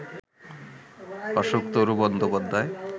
Ashoktaru Bandyopadhyay